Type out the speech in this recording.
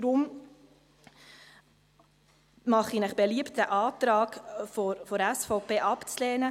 Deshalb mache ich Ihnen beliebt, den Antrag der SVP abzulehnen.